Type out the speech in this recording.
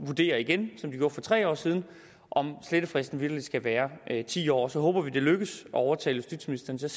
vurdere igen som de gjorde for tre år siden om slettefristen virkelig skal være ti år så håber vi at det lykkes at overtale justitsministeren til